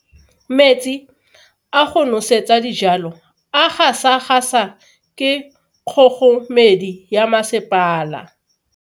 Metsi a go nosetsa dijalo a gasa gasa ke kgogomedi ya masepala.